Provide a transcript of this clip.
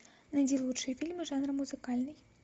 найди лучшие фильмы жанра музыкальный